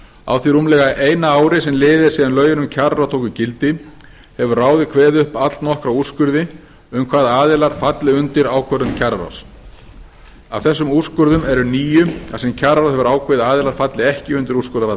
á því rúmlega eina ári sem liðið er síðan lögin um kjararáð tóku gildi hefur ráðið kveðið upp allnokkra úrskurði um hvaða aðilar falli undir ákvörðun kjararáðs af þessum úrskurðum eru níu þar sem kjararáð hefur ákveðið að aðilar falli ekki undir úrskurðarvald